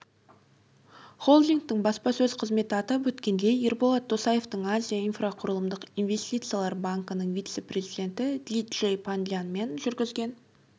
холдингтің баспасөз қызметі атап өткендей ерболат досаевтың азия инфрақұрылымдық инвестициялар банкінің вице-президенті ди джей пандианмен жүргізген